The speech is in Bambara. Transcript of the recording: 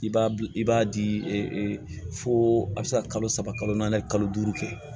I b'a bil i b'a di fo a be se ka kalo saba kalo naani kalo duuru kɛ